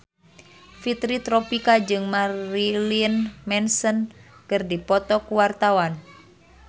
Fitri Tropika jeung Marilyn Manson keur dipoto ku wartawan